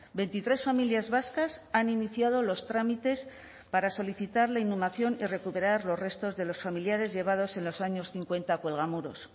veintitres familias vascas han iniciado los trámites para solicitar la inhumación y recuperar los restos de los familiares llevados en los años cincuenta a cuelgamuros